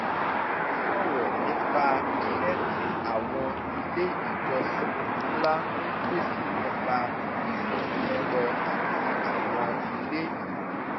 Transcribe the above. ó ṣòrọ̀ nípa iṣẹ́ tí àwọn ilé ìjọsìn ńlá ń pèsè nípa ìmọ̀ ẹ̀rọ àti àwọn ilé ìwé